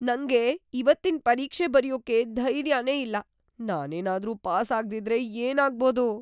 ನಂಗೆ ಇವತ್ತಿನ್ ಪರೀಕ್ಷೆ ಬರ್ಯೋಕೆ ಧೈರ್ಯನೇ ಇಲ್ಲ. ನಾನೇನಾದ್ರೂ ಪಾಸ್ ಆಗ್ದಿದ್ರೆ ಏನಾಗ್ಬೋದು?